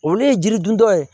Olu ye jiri dun dɔ ye